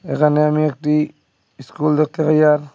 এখানে আমি একটি ইস্কুল দেখতে পাই আর--